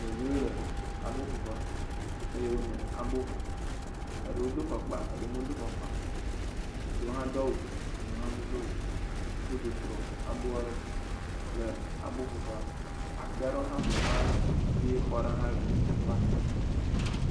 Ɖeviwo le abo ƒoƒe, ɖewo do afɔkpa ɖewo medo afɔkpa o, ɖewo do awu eye ɖewo medo awu o woƒu du kplɔ aboa ɖo le aboƒoƒe, atiwo kple xɔwo hã ƒoxla aboƒe ƒea,